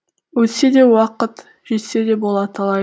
өтсе де уақыт жетсе де бола талай